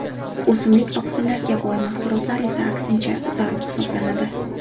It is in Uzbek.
O‘simlik oqsillariga boy mahsulotlar esa aksincha, zarur hisoblanadi.